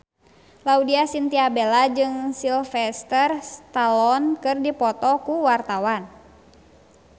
Laudya Chintya Bella jeung Sylvester Stallone keur dipoto ku wartawan